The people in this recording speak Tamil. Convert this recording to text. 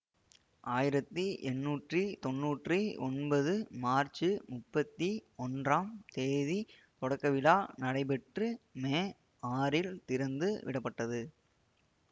ஆயிரத்தி எட்டுநூத்தி தொண்ணூற்றி ஒன்பது மார்ச்சு முப்பத்தி ஒன்றாம் தேதி தொடக்கவிழா நடைபெற்று மே ஆறில் திறந்துவிடப்பட்டது